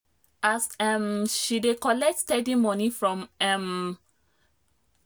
as um she dey collect steady money um from her freelance hustle e help her dey bold with money um matter small small.